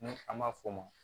Ni an ma fɔ o ma